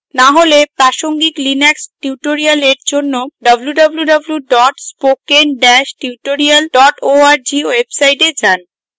না হলে প্রাসঙ্গিক linux tutorials জন্য www spokentutorial org website যান